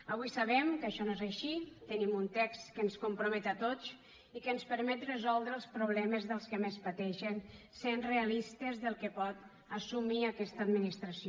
avui sabem que això no és així tenim un text que ens compromet a tots i que ens permet resoldre els problemes dels que més pateixen sent realistes del que pot assumir aquesta administració